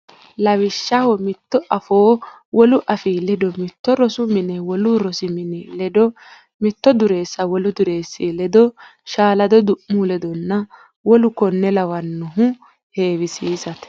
Lawishshaho mitto afoo wolu afii ledo mitto rosu mine wolu rosi mini ledo mitto dureessa wolu dureessi ledo shaalado du mu ledonna w k l heewisiisate.